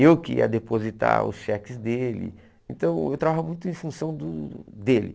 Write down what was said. Eu que ia depositar os cheques dele, então eu trabalhava muito em função do dele.